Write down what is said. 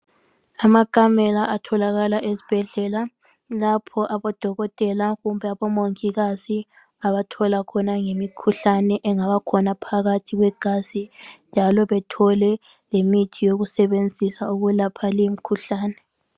Amakamela atholakala ezbhedlela lapho abodokotela kumbe abomangikazi abathola khona ngemikhuhlane engabakhona phakathi kwegazi njalo bethole lemithi yokusebenzisa ukwelapha limkhuhlane.